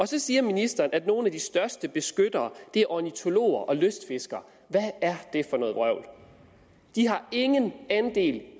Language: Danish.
så siger ministeren at nogle af de største beskyttere er ornitologerne og lystfiskerne hvad er det for noget vrøvl de har ingen andel